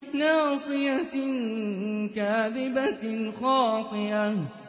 نَاصِيَةٍ كَاذِبَةٍ خَاطِئَةٍ